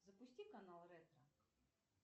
запусти канал ретро